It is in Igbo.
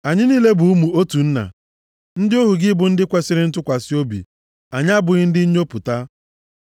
Anyị niile bụ ụmụ otu nna. Ndị ohu gị bụ ndị kwesiri ntụkwasị obi. Anyị abụghị ndị nnyopụta.”